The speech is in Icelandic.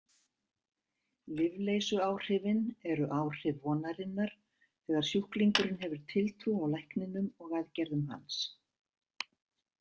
Lyfleysuáhrifin eru áhrif vonarinnar þegar sjúklingurinn hefur tiltrú á lækninum og aðgerðum hans.